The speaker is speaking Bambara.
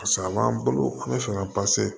Paseke a b'an bolo an bɛ fɛ ka